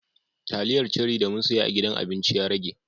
Taliyar ceri da mun siya a gidan abinci ya rage.